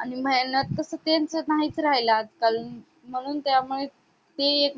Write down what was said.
आणि मेहनत तस त्यांचं नाही राहिले नाहीच राहिले आजकाल म्हणून त्या मुले ते एक